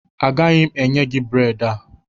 Agaghị m enye gị bredị a